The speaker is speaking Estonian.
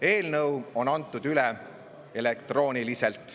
Eelnõu on üle antud elektrooniliselt.